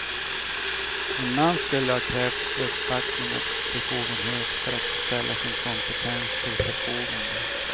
En man skulle ha krävt uppbackning och befogenhet för att ställa sin kompetens till förfogande.